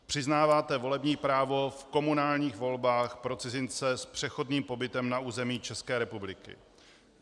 Přiznáváte volební právo v komunálních volbách pro cizince s přechodným pobytem na území České republiky.